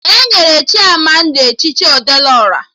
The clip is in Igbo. Enyere Chimamanda echichi Ọdelụ Ọra